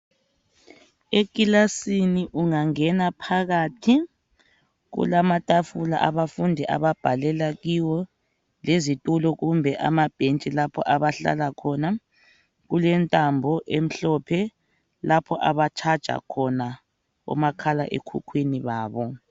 Ekilasini ungangena phakathi, kulamatafula abafundi ababhalela kiwo, lezitulo kumbe amabhentshi lapho abahlala khona. Kulentambo emhlophe lapho abatshaja khona omakhalekhukhwini babo.